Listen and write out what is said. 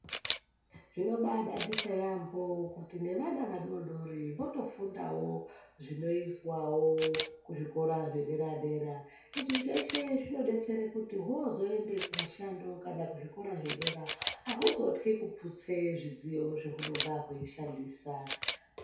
Zvino bai dadisa yambo kuti ne vana vadodori votofundawo zvinoizwawo kuzvi kora zve dedera izvi zveshe zvino betsere kuti hozooende kumishando kana kuzvi kora zvedera hauzotyi kuputse midziyo zva hunenge zvei shandisa.